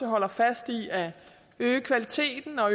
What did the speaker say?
holder fast i at øge kvaliteten og